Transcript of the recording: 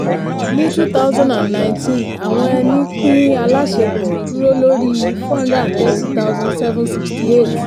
ní two thousand and nineteen àwọn ẹni pín aláṣepọ̀ dúró lórí four hundred and thirty thosand seven sixty eight.